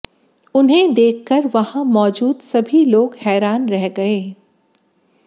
उन्हें देखकर वहां मौजूद सभी लोग हैरान रह गए